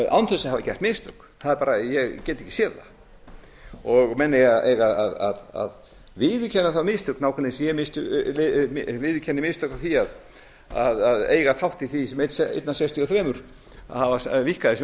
án þess að hafa gert mistök ég get ekki séð það menn eiga að viðurkenna þá mistök nákvæmlega eins og ég viðurkenni mistök á því að eiga þátt í því eitt af sextíu og þrjú að hafa víkkað þessi